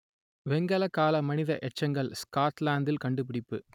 வெண்கலக்கால மனித எச்சங்கள் ஸ்கொட்லாந்தில் கண்டுபிடிப்பு